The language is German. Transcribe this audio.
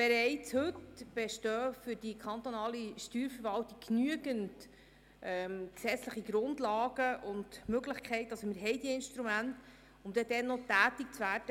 Bereits heute bestehen für die kantonale Steuerverwaltung genügend gesetzliche Grundlagen und Möglichkeiten, um tätig zu werden, wenn es nötig ist.